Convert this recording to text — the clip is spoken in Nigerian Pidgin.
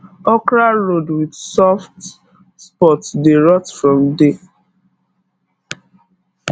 okra rod with soft spot dey rot from day